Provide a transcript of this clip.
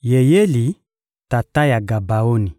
Yeyeli, tata ya Gabaoni,